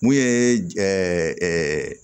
Mun ye